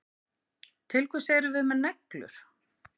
Til hvers erum við með neglur?